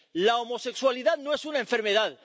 La homosexualidad no es una enfermedad.